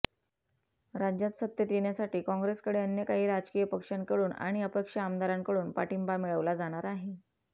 राज्यात सत्तेत येण्यासाठी काँग्रेसकडे अन्य काही राजकीय पक्षांकडून आणि अपक्ष आमदारांकडून पाठिंबा मिळवला जाणार आहे